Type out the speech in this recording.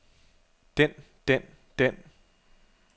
den den den